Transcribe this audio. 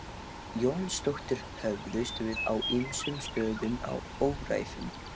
Jónsdóttir höfðust við á ýmsum stöðum á öræfum